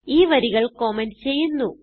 ഈ വരികൾ കമന്റ് ചെയ്യുന്നു